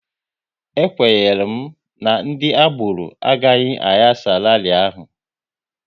E kwenyere m na ndị agboro agaghị ayasa rali ahụ